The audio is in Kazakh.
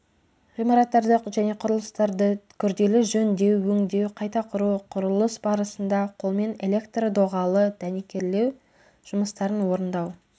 ғимараттарды және құрылыстарды күрделі жөндеу өңдеу қайта құру құрылыс барысында қолмен электрдоғалы дәнекерлеу жұмыстарын орындау